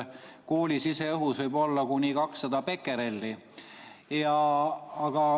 Kooli siseõhus võib olla kuni 200 bekerelli.